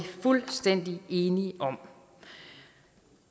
fuldstændig enige om